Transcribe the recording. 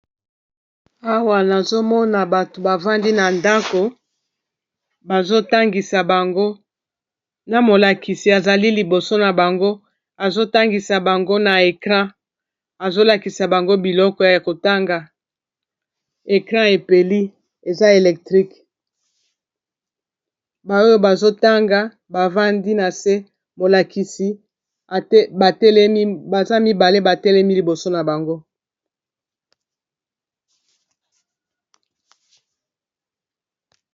Awa nazomona bato bavandi na ndako bazo tangisa bango na molakisi azali liboso na bango azotangisa bango na ecran azolakisa bango biloko ya kotanga ecran epeli eza electrique baoyo bazotanga bavandi na se molakisi baza mibale batelemi liboso na bango.